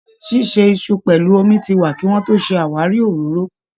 Ṣíṣe iṣu pẹlú omi ti wà kí wọ́n tó ṣe àwáríi òróró